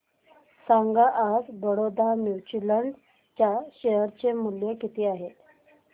सांगा आज Baroda mutual fund च्या शेअर चे मूल्य किती आहे